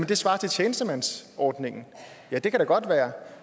det svarer til tjenestemandsordningen ja det kan da godt være